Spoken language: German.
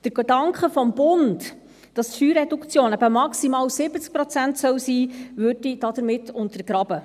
Der Gedanke des Bundes, dass die Steuerreduktion eben maximal 70 Prozent sein soll, würde dadurch untergraben.